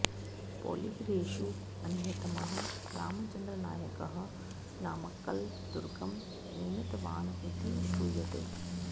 पोलिगरेषु अन्यतमः रामचन्द्रनायकः नामक्कल् दुर्गं निर्मितवान् इति श्रूयते